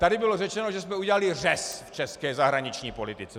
Tady bylo řečeno, že jsme udělali řez v české zahraniční politice.